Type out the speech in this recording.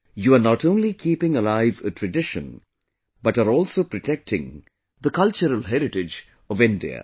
You are not only keeping alive a tradition, but are also protecting the cultural heritage of India